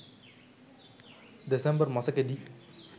December මසකේ.ඩී.